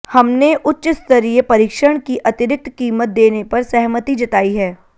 हमने उच्च स्तरीय परीक्षण की अतिरिक्त कीमत देने पर सहमति जतायी है